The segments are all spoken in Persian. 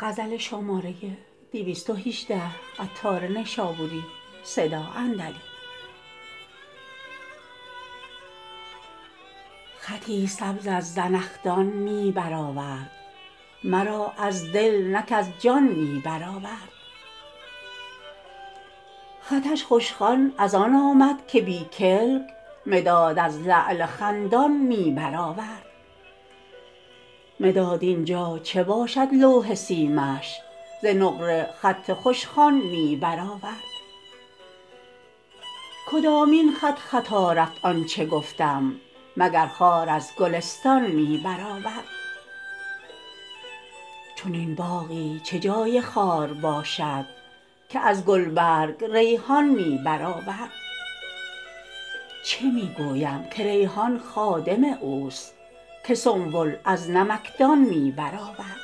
خطی سبز از زنخدان می بر آورد مرا از دل نه کز جان می بر آورد خطش خوش خوان از آن آمد که بی کلک مداد از لعل خندان می بر آورد مداد اینجا چه باشد لوح سیمش ز نقره خط خوش خوان می بر آورد کدامین خط خطا رفت آنچه گفتم مگر خار از گلستان می بر آورد چنین باغی چه جای خار باشد که از گلبرگ ریحان می بر آورد چه می گویم که ریحان خادم اوست که سنبل از نمکدان می برآورد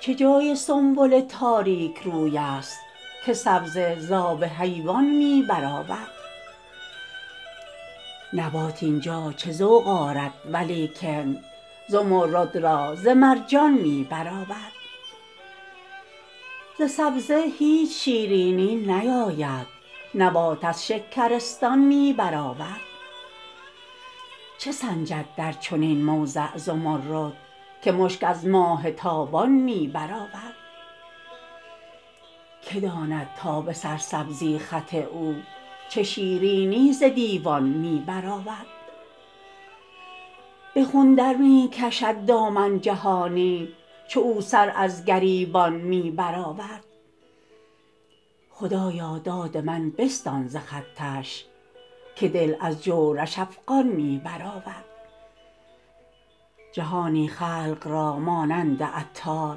چه جای سنبل تاریک روی است که سبزه زاب حیوان می برآورد نبات اینجا چه ذوق آرد ولیکن زمرد را ز مرجان می بر آورد ز سبزه هیچ شیرینی نیاید نبات از شکرستان می بر آورد چه سنجد در چنین موضع زمرد که مشک از ماه تابان می بر آورد که داند تا به سرسبزی خط او چه شیرینی ز دیوان می بر آورد به خون در می کشد دامن جهانی چو او سر از گریبان می بر آورد خدایا داد من بستان ز خطش که دل از جورش افغان می بر آورد جهانی خلق را مانند عطار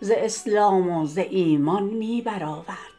ز اسلام و ز ایمان می بر آورد